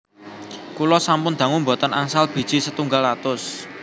Kula sampun dangu mboten angsal biji setunggal atus